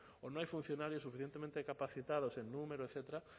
o no hay funcionarios suficientemente capacitados en número etcétera